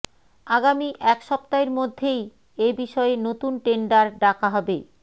আগামী এক সপ্তাহের মধ্যেই এবিষয়ে নতুন টেন্ডার ডাকা হবে